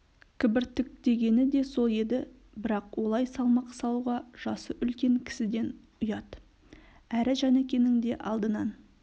кібіртіктегені де сол еді бірақ олай салмақ салуға жасы үлкен кісіден ұят әрі жәнікенің де алдынан